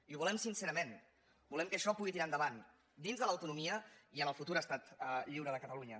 i ho volem sincerament volem que això pugui tirar endavant dins de l’autonomia i en el futur estat lliure de catalunya